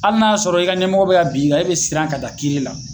Ali n'a y'a sɔrɔ i ka ɲɛmɔgɔ be ka bin kan e be siran ka da kiiri la